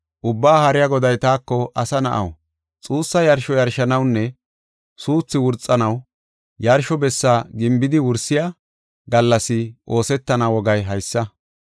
Ubbaa Haariya Goday taako, “Asa na7aw, xuussa yarsho yarshanawunne suuthu wurxanaw, yarsho bessa gimbidi wursiya gallas oosetana wogay haysa.